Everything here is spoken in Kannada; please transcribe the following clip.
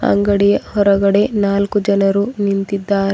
ಅಂಗಡಿಯ ಹೊರಗಡೆ ನಾಲ್ಕು ಜನರು ನಿಂತಿದ್ದಾರೆ.